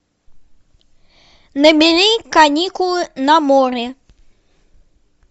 набери каникулы на море